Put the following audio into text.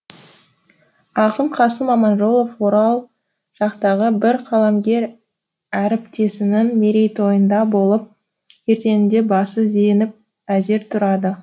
ақын қасым аманжолов орал жақтағы бір қаламгер әріптесінің мерейтойында болып ертеңінде басы зеңіп әзер тұрады